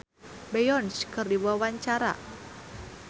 Citra Kirana olohok ningali Beyonce keur diwawancara